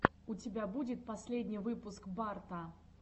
у тебя будет последний выпуск барта